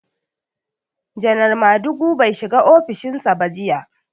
Janar Madugu bai shiga ofishin sa ba jiya.